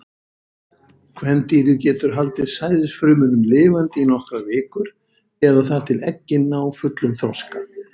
Kvendýrið getur haldið sæðisfrumunum lifandi í nokkrar vikur, eða þar til eggin ná fullum þroska.